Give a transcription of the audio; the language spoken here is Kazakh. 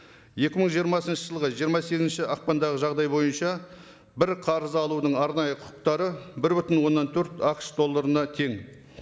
екі мың жиырмасыншы жылғы жиырма сегізінші ақпандағы жағдай бойынша бір қарыз алудың арнайы құқықтары бір бүтін оннан төрт ақш долларына тең